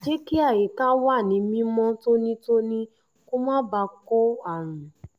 jẹ́ kí àyíká wà ní mímọ́ tónítóní kó má bàa kó àrùn